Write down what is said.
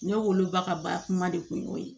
Ne wolo ba ka ba kuma de kun y'o ye